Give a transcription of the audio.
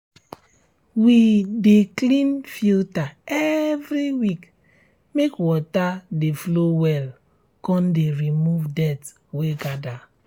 we de clean filter every week mske water de flow well con de remove dirt wey gather